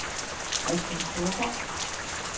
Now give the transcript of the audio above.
Kristian Storgaard